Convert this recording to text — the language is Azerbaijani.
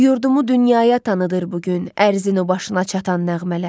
Yurdumu dünyaya tanıtır bu gün, ərzinin o başına çatan nəğmələr.